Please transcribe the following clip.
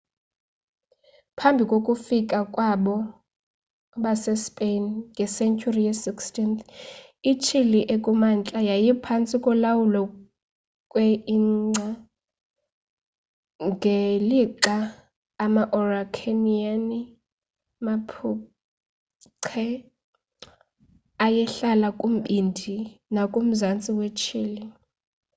phambi kokufika kwabo base spain ngesenturi ye 16th ichile ekumantla yayiphansti kolawulo kwe inca ngelixa ama araucaniani mapuche ayehlala kumbindi nakumzantsi we chile